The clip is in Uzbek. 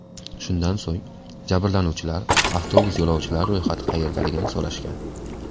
Shundan so‘ng jabrlanuvchilar avtobus yo‘lovchilari ro‘yxati qayerdaligini so‘rashgan.